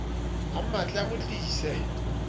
a mmatle a mo tlise